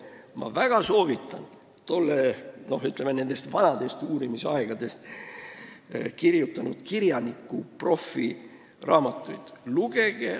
Ma väga soovitan lugeda nendest vanadest uurimisaegadest kirjutanud kirjaniku, profi Andres Anvelti raamatuid.